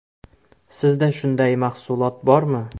Sizda shunday mahsulot bormi?